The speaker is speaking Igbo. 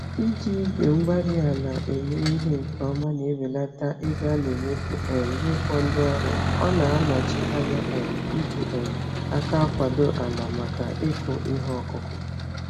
Iji igwe-mgbárí-ala eme ihe nke ọma na-ebelata ego anemefu um n'ịkpọ ndị ọrụ, ọna anọchi ányá um iji um àkà akwado ala màkà ịkụ ìhè okụkụ